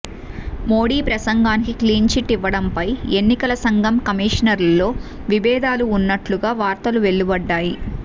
మోడీ ప్రసంగానికి clean chit ఇవ్వడంపై ఎన్నికల సంఘం కమిషనర్లలో విభేదాలు ఉన్నట్లుగా వార్తలు వెలువడ్డాయి